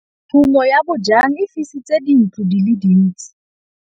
Tshumô ya bojang e fisitse dintlo di le dintsi.